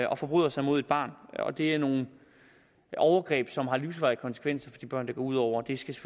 og forbryder sig mod et barn og det er nogle overgreb som har livsvarige konsekvenser for de børn det går ud over det skal